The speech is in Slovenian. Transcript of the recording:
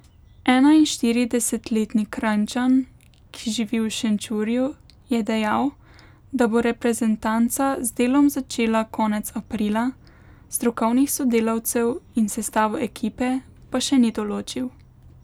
Enainštiridesetletni Kranjčan, ki živi v Šenčurju, je dejal, da bo reprezentanca z delom začela konec aprila, strokovnih sodelavcev in sestavo ekipe pa še ni določil.